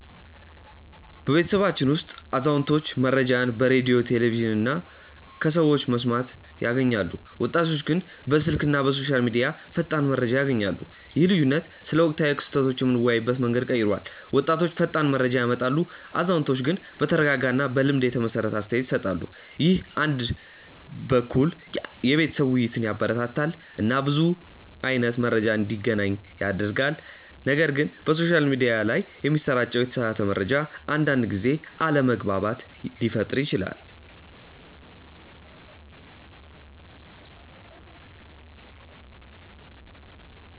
በቤተሰባችን ውስጥ አዛውንቶች መረጃን በሬዲዮ፣ ቴሌቪዥን እና ከሰዎች በመስማት ያገኛሉ፣ ወጣቶች ግን በስልክ እና በሶሻል ሚዲያ ፈጣን መረጃ ያገኛሉ። ይህ ልዩነት ስለ ወቅታዊ ክስተቶች የምንወያይበትን መንገድ ቀይሯል፤ ወጣቶች ፈጣን መረጃ ያመጣሉ፣ አዛውንቶች ግን በተረጋጋ እና በልምድ የተመሰረተ አስተያየት ይሰጣሉ። ይህ አንድ በኩል የቤተሰብ ውይይትን ያበረታታል እና ብዙ አይነት መረጃ እንዲገናኝ ያደርጋል፣ ነገር ግን በሶሻል ሚዲያ ላይ የሚሰራጭ የተሳሳተ መረጃ አንዳንድ ጊዜ አለመግባባት ሊፈጥር ይችላል